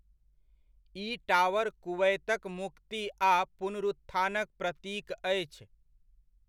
ई tower कुवैतक मुक्ति आ पुनरुत्थानक प्रतीक अछि।